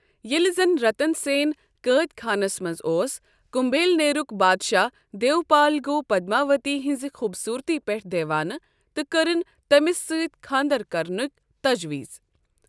ییٚلہِ زن رَتن سین قٲد خانس منٛز اوس، کُمبھلنیرُک بادشاہ دیوپال گوٚو پدماؤتی ہِنٛزِ خُوٗبصوٗرتی پتھ دیوانہٕ تہٕ کٔرٕن تٔمِس سۭتۍ خانٛدر کرنک تجویز۔